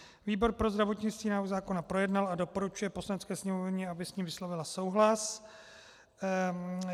Výbor pro zdravotnictví návrh zákona projednal a doporučuje Poslanecké sněmovně, aby s ním vyslovila souhlas.